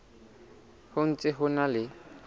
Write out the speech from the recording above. ho ntse ho na le